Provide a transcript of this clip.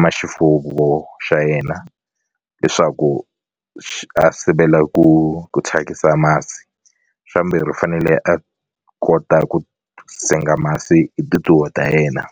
ma xifuwo xa yena leswaku a sivela ku ku thyakisa masi xa vumbirhi u fanele a kota ku senga masi hi tintiho ta yena.